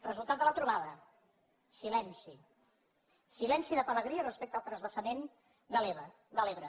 resultat de la trobada silenci silenci de pelegrí respecte al transvasament de l’ebre